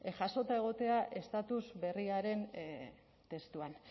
jasota egotea estatus berriaren testuan